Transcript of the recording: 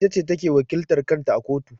Ita ce ta ke wakiltar kan ta a kotu.